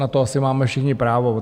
Na to asi máme všichni právo.